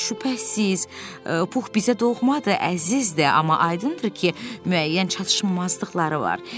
Şübhəsiz, Pux bizə doğmadır, əzizdir, amma aydındır ki, müəyyən çatışmazlıqları var.